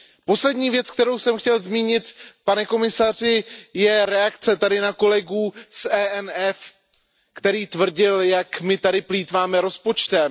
Poslední věc, kterou jsem chtěl zmínit, pane komisaři, je reakce tady na kolegu z ENF, který tvrdil, jak my tady plýtváme rozpočtem.